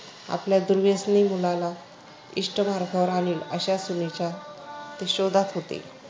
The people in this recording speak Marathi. आपल्या दुर्व्यसनी मुलाला इष्ट मार्गावर आणील अशा सुनेच्या ते शोधात होते.